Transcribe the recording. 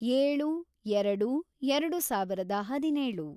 ಏಳು, ಎರೆಡು, ಎರೆಡು ಸಾವಿರದ ಹದಿನೇಳು